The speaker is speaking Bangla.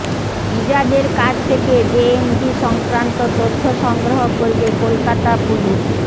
ইজাজের কাছ থেকে জেএমবি সংক্রান্ত তথ্য সংগ্রহ করবে কলকাতা পুলিশ